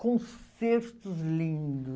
Concertos lindos.